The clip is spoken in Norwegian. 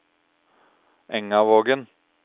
Engavågen